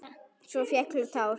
Svo féllu tár.